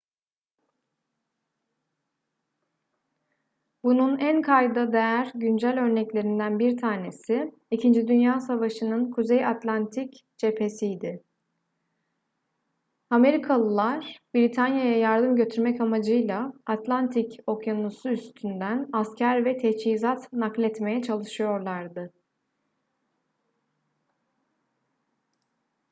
bunun en kayda değer güncel örneklerinden bir tanesi i̇kinci dünya savaşı'nın kuzey atlantik cephesiydi. amerikalılar britanya'ya yardım götürmek amacıyla atlantik okyanusu üstünden asker ve teçhizat nakletmeye çalışıyorlardı